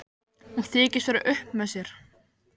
Hún þykist vera upp með sér.